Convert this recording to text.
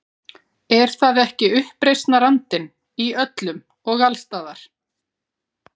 Er það ekki uppreisnarandinn- í öllum og alls staðar.